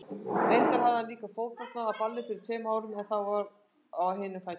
Reyndar hafði hann líka fótbrotnað á balli fyrir tveimur árum, en þá á hinum fætinum.